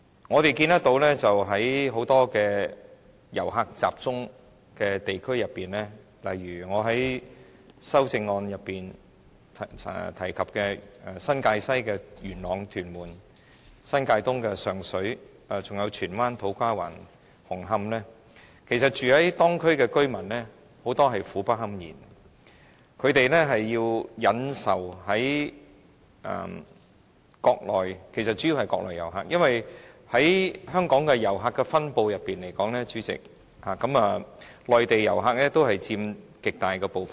我們看到在某些遊客集中的地區，例如我在修正案內提及新界西的元朗、屯門，新界東的上水，還有荃灣、土瓜灣、紅磡等地區，很多當區居民也苦不堪言，他們須忍受的其實主要是國內遊客，因為以香港的遊客分布來說，代理主席，內地遊客佔了極大部分。